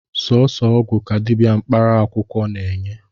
Sọsọ ọgwụ ka dịbịa mkparaakwụkwọ na-eney